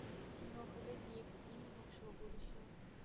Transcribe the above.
киноха люди икс дни минувшего будущего